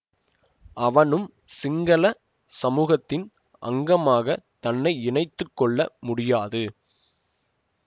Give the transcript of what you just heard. அவனும் சிங்கள சமூகத்தின் அங்கமாக தன்னை இணைத்து கொள்ள முடியாது